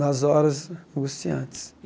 Nas horas angustiantes.